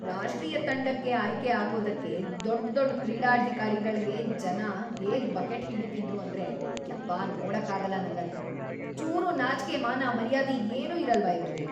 ರಾಷ್ಟ್ರೀಯ ತಂಡಕ್ಕೆ ಆಯ್ಕೆ ಆಗೋದಕ್ಕೆ ದೊಡ್ಡ್‌ ದೊಡ್ಡ್ ಕ್ರೀಡಾಧಿಕಾರಿಗಳ್ಗೆ ಜನ ಹೇಗ್ ಬಕೆಟ್‌ ಹಿಡೀತಿದ್ರು ಅಂದ್ರೆ ಯಪ್ಪ ನೋಡಕ್ಕಾಗಲ್ಲ ನಂಗದ್ನ.. ಚೂರೂ ನಾಚ್ಕೆ ಮಾನ ಮರ್ಯಾದೆ ಏನೂ ಇರಲ್ವಾ ಇವ್ರಿಗೆ?!